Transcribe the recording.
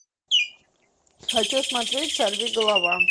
хочу смотреть сорви голова